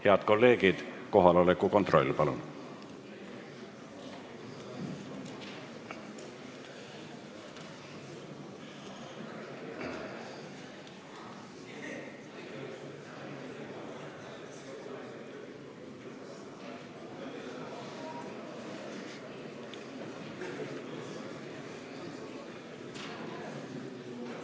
Head kolleegid, kohaloleku kontroll, palun!